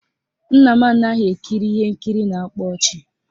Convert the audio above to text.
Nna m anaghị ekiri ihe nkiri na-akpa ọchị